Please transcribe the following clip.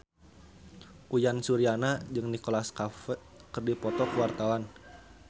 Uyan Suryana jeung Nicholas Cafe keur dipoto ku wartawan